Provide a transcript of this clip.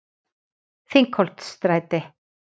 Þingholtsstræti